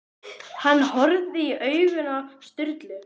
Hann horfði í augun á Sturlu.